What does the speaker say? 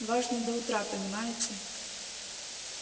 важно до утра понимаете